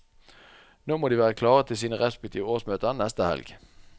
Nå må de være klare til sine respektive årsmøter neste helg.